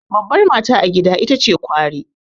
Babbar mata a gida ita ce kwari.